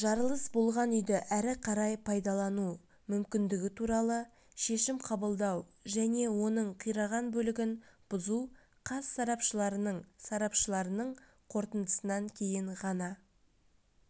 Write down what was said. жарылыс болған үйді әрі қарай пайдалану мүмкіндігі туралы шешім қабылдау және оның қираған бөлігін бұзу қаз сарапшыларының сарапшыларының қорытындысынан кейін ғана